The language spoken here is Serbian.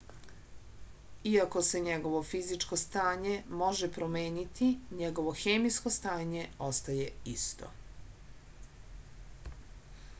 iako se njegovo fizičko stanje može promeniti njegovo hemijsko stanje ostaje isto